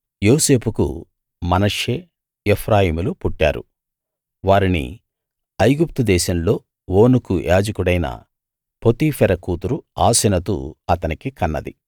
యోసేపుకు మనష్షే ఎఫ్రాయిములు పుట్టారు వారిని ఐగుప్తుదేశంలో ఓనుకు యాజకుడైన పోతీఫెర కూతురు ఆసెనతు అతనికి కన్నది